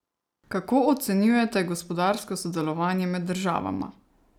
Kako ocenjujete gospodarsko sodelovanje med državama?